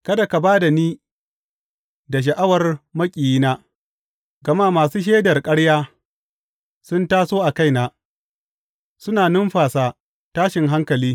Kada ka ba da ni da sha’awar maƙiyina, gama masu shaidar ƙarya sun taso a kaina, suna numfasa tashin hankali.